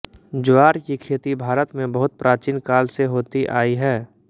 ज्वार की खेती भारत में बहुत प्राचीन काल से होती आई है